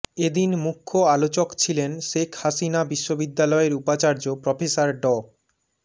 এদিন মুখ্য আলোচক ছিলেন শেখ হাসিনা বিশ্ববিদ্যালয়ের উপাচার্য প্রফেসর ড